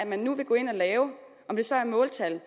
man nu vil gå ind og lave om det så er måltal